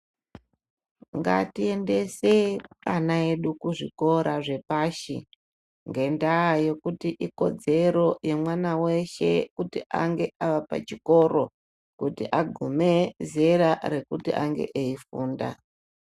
Ngatiendesei ana edu kuzvikora zvepashi, ngendaa yekuti ikodzero yemwana weshe kuti ange ari pachikoro, kuti agume zera rekuti ange eifunda.